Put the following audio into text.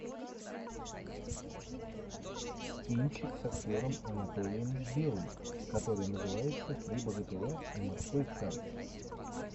кинчик с актером анатолием белый который называется три богатыря и морской царь